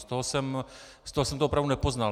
Z toho jsem to opravdu nepoznal.